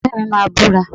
Ọ̀rẹ́ mi máa búra